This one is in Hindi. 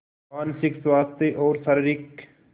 मानसिक स्वास्थ्य और शारीरिक स्